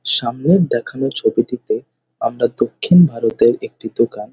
সামনের দেখানো ছবিটিতে আমরা দক্ষিণ ভারতের একটি দোকান --